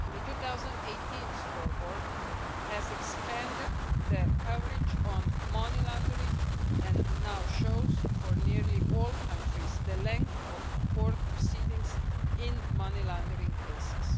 The 2018 Scoreboard expanded the coverage of money laundering and now shows, for nearly all countries, the length of court proceedings in money laundering cases.